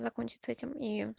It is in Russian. закончится этим и